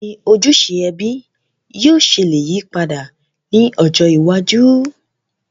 Bàwoni ojúse ẹbí yio se le yípadà ni ọjọ́ iwájú?